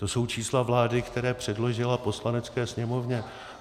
To jsou čísla vlády, která předložila Poslanecké sněmovně.